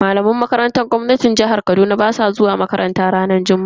Malaman makarantar gwamnati a jihar Kaduna basu zuwa aiki ranar juma'a.